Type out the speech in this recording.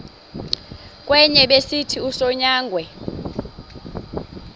kwenye besithi usonyangwe